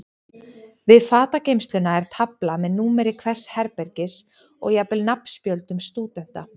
Við fatageymsluna er tafla með númeri hvers herbergis og jafnvel nafnspjöldum stúdenta.